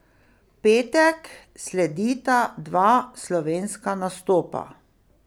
V petek sledita dva slovenska nastopa.